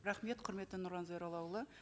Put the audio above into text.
рахмет құрметті нұрлан зайроллаұлы